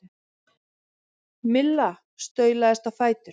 Milla staulaðist á fætur.